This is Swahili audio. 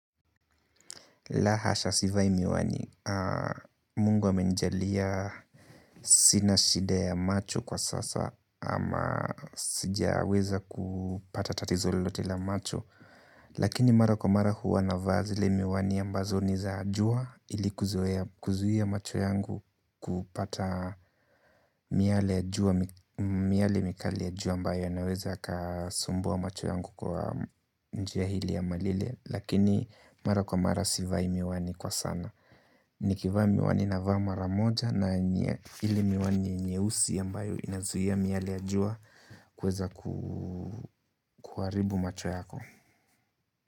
La hasha sivai miwani. Mungu amenijalia sina shida ya macho kwa sasa ama sijaweza kupata tatizo lolote la macho. Lakini mara kwa mara huvaa zile miwani ambazo ni za jua ili kuzuia macho yangu kupata miale miale mikali ya jua ambayo naweza kasumbua macho yangu kwa njia hili ama lile. Lakini mara kwa mara sivai miwani kwa sana. Nikivaa miwani navaa mara moja na yenye ili miwani nyeusi ambayo inazuia miale ya jua kuweza kuharibu macho yako.